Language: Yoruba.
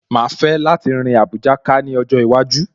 Màá fẹ́ láti rin Àbújá ká ní ọjọ́ iwájú